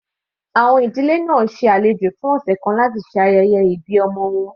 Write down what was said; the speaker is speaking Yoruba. Àwọn ìdílé náà ṣe alejò fún ọ̀sẹ̀ kan láti ṣe ayẹyẹ ìbí ọmọ wọn.